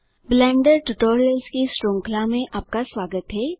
blender tutorials की श्रृंखला में आपका स्वागत है